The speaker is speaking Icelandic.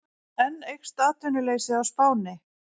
Enn eykst atvinnuleysið á Spáni